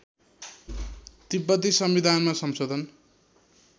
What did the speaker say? तिब्बती संविधानमा संशोधन